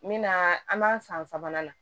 Min na an b'an san sabanan la